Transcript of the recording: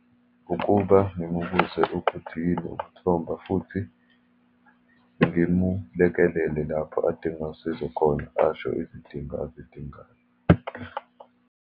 Ukuba ngimubuze ukuthi yini ukumthomba, futhi ngimulekelele lapho adinga usizo khona, asho izidingo azidingayo.